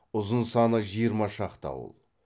ұзын саны жиырма шақты ауыл